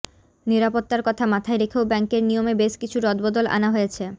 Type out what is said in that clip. নিরাপত্তার কথা মাথায় রেখেও ব্যাঙ্কের নিয়মে বেশ কিছু রদবদল আনা হয়েছে